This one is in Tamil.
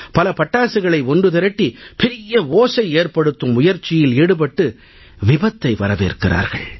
பல பட்டாசுகளை ஒன்று திரட்டி பெரிய ஓசை ஏற்படுத்தும் முயற்சியில் ஈடுபட்டு விபத்தை வரவேற்கிறார்கள்